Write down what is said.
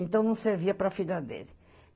Então, não servia para a filha dele.